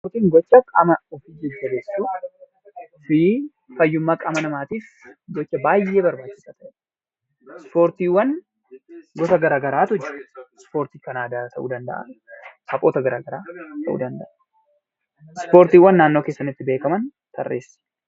Ispoortiin gocha qaama namaatiif baay'ee barbaachisaadha. Ispoortiiwwan gosa garaagaraatu jiru. Kan aadaa ta'uu danda'a taphoota garaagaraa ta'uu danda'a. Ispoortiiiwwan naannoo keessanitti beekaman tarreessi.